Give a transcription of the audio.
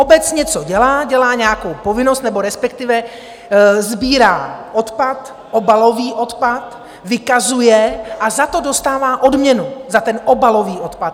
Obec něco dělá, dělá nějakou povinnost nebo respektive sbírá odpad, obalový odpad, vykazuje a za to dostává odměnu, za ten obalový odpad.